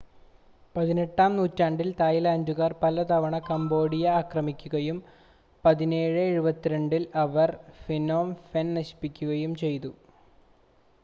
18-ആം നൂറ്റാണ്ടിൽ തായ്‌ലാൻഡുകാർ പലതവണ കംബോഡിയ ആക്രമിക്കുകയും 1772-ൽ അവർ ഫ്നോം ഫെൻ നശിപ്പിക്കുകയും ചെയ്തു